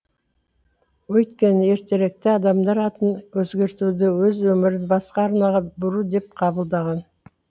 өйткені ертеректе адамдар атын өзгертуді өз өмірін басқа арнаға бұру деп қабылдаған